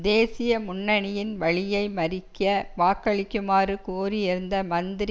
தேசிய முன்னனியின் வழியை மறிக்க வாக்களிக்குமாறு கோரியிருந்த மந்திரி